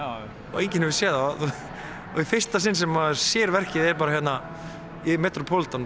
og enginn hefur séð það og í fyrsta sinn sem maður sér verkið er bara hérna í metropolitan